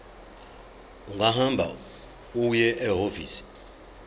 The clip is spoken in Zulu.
ungahamba uye ehhovisi